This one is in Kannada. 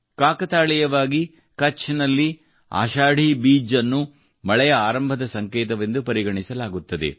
ಕಾಕತಾಳೀಯವಾಗಿ ಕಛ್ ನಲ್ಲಿ ಆಶಾಢಿ ಬೀಜ್ ಅನ್ನು ಮಳೆಯ ಆರಂಭದ ಸಂಕೇತವೆಂದು ಪರಿಗಣಿಸಲಾಗುತ್ತದೆ